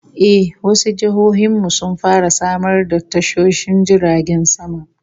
Eh, wasu jihohin mu sun fara samar da tashoshin jiragen sama